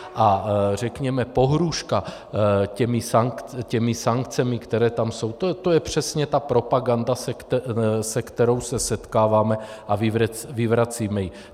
A řekněme pohrůžka těmi sankcemi, které tam jsou, to je přesně ta propaganda, s kterou se setkáváme, a vyvracíme ji.